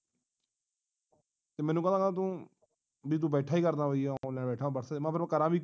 ਤੇ ਮੈਨੂੰ ਕਹਿੰਦਾ ਤੂੰ ਬਈ ਤੂੰ ਬੈਠਾ ਕੀ ਕਰਦਾਂ online ਬੈਠਾ ਬਸ ਫੇਰ ਮੈਂ ਕਰਾਂ ਵੀ ਕੀ